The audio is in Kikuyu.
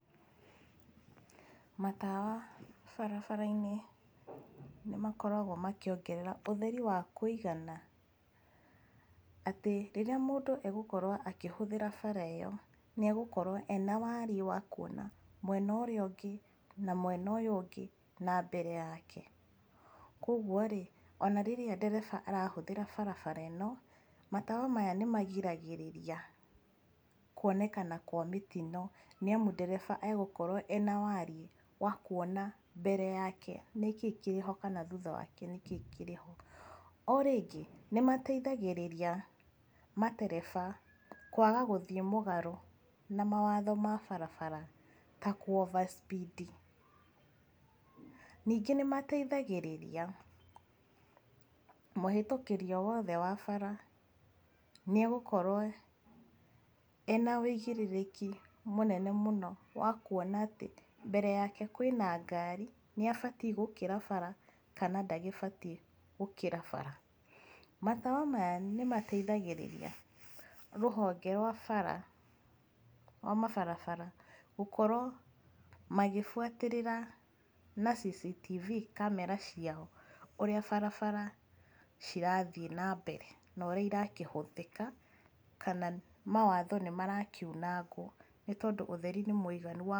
Matawa barabara-inĩ nĩ makoragwo makĩongerera ũtheri wa kuigana, atĩ rĩrĩa mũndũ egũkorwo akĩhũthĩra bara ĩyo nĩagũkorwo ena warie wa kuona mwena ũrĩa ũngĩ, na mwena ũyũ ũngĩ na mbere yake. Koguo rĩ ona rĩrĩa ndereba arahũthĩra barabara ĩno, matawa maya nĩmagiragĩrĩria kuonekana kwa mĩtino, nĩamu ndereba agũkorwo ena warie wa kuona mbere yake nĩkĩĩ kĩrĩ ho kana thutha wake nĩkĩĩ kĩrĩ ho. O rĩngĩ nĩ mateithagĩrĩria matereba kwaga guthiĩ mũgarũ ma mawatho ma barabara ta kũ overspeed. Ningĩ nĩmateithagĩrĩria mũhĩtũkĩri o wothe wa bara nĩagũkorwo ena ũigĩrĩrĩki mũnene mũno wa kuona atĩ, mbere yake kwĩna ngari, nĩ abatie gũkĩra bara kana ndagĩbatie gũkĩra bara. Matawa maya nĩ mateithagĩrĩria rũhonge rwa bara, rwa mabarabara gukorwo magĩbuatĩrĩra na CCTV camera ciao ũrĩa barabara cirathi na mbere na ũrĩa irakĩhũthĩka, kana mawatho nĩmarakiunangwo, nĩ tondũ ũtheri nĩ mũiganu wa...